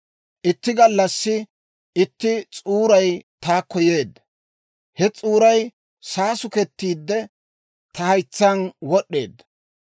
«Itti gallassi itti s'uuray taakko yeedda; he s'uuray saasukettiide, ta haytsaan wod'd'eedda.